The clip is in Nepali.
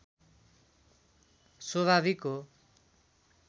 स्वभाविक हो